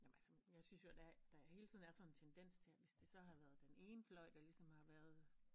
Jamen altså jeg synes jo der der hele tiden er sådan en tendens til at hvis det så har været den ene fløj der ligesom har været